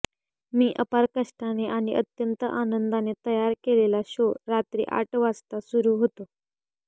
मी अपार कष्टाने आणि अत्यंत आनंदाने तयार केलेला शो रात्री आठ वाजता सुरू होतो